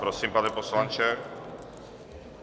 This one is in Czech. Prosím, pane poslanče.